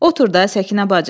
Otur da, Səkinə bacı.